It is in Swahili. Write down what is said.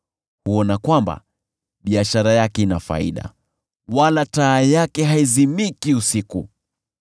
Huona kwamba biashara yake ina faida, wala taa yake haizimiki usiku.